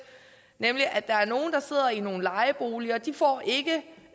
nemlig at der er nogle der sidder i nogle lejeboliger og de får ikke